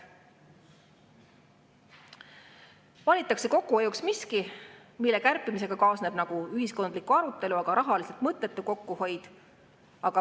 Valitakse kokkuhoiuks miski, mille kärpimisega kaasneb ühiskondlikku arutelu, aga mis rahaliselt on mõttetu kokkuhoid.